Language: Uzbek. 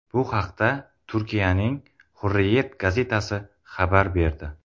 Bu haqda Turkiyaning Hurriyet gazetasi xabar berdi .